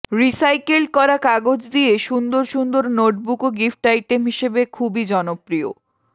recycled করা কাগজ দিয়ে সুন্দর সুন্দর নোটবুকও গিফট আইটেম হিসেবে খুবই জনপ্রিয়